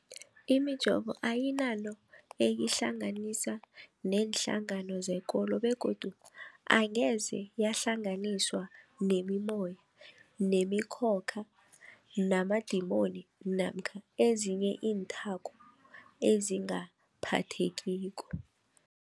Imijovo ayinanto eyihlanganisa neenhlangano zekolo begodu angeze yahlanganiswa nemimoya, nemi khokha, namadimoni namkha ezinye iinthako ezingaphathekiko.